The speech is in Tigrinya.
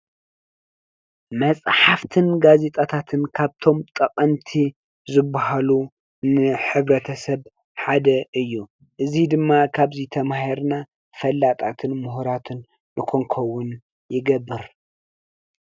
መፅሓፍትን ጋዜጣታትን ካብቶም ጠቐምቲ ዝበሃሉ ን ሕብረተሰብ ሓደ እዩ እዚ ድማ ካብዚ ተማሂርና ፈላጣትን ሙሁራትን ንኽንከውን ይገብር።